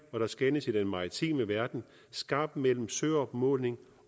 for der skelnes i den maritime verden skarpt mellem søopmåling